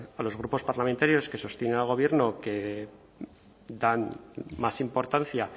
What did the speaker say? a los grupos parlamentarios que sostienen al gobierno que dan más importancia